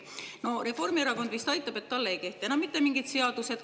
Reformierakond vist, et tema kohta ei kehti enam mitte mingid seadused.